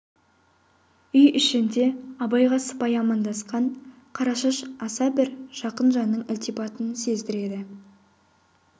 үй ішінде абайға сыпайы амандасқан қарашаш аса бір жақын жанның ілтипатын сездіреді